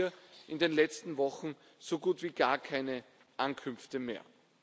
Wir haben hier in den letzten Wochen so gut wie gar keine Ankünfte mehr.